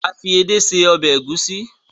a fi ede sí Ọbẹ̀ Egusi.